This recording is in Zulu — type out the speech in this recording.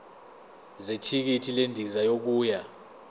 zethikithi lendiza yokuya